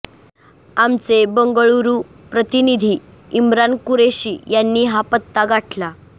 आमचे बंगळुरू प्रतिनिधी इम्रान कुरेशी यांनी हा पत्ता गाठला